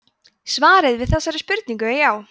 svarið við þessari spurningu er já